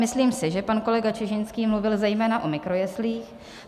Myslím si, že pan kolega Čižinský mluvil zejména o mikrojeslích.